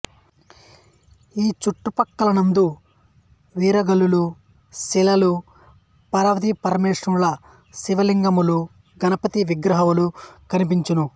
ఈ చుట్టు ప్రక్కలందు వీర గల్లుల శిలలు పార్వతీ పస్రమేశ్వరుల శివలింగములు గణపతి విగ్రహములు కనిపించును